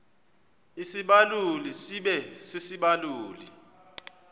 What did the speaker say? isibaluli sibe sisibaluli